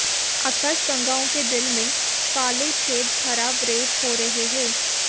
आकाशगंगाओं के दिल में काले छेद खराब रैप हो रहे हैं